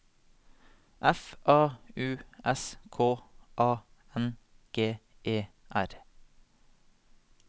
F A U S K A N G E R